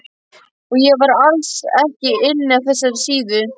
Og ég var alls ekki inni á þessari síðu!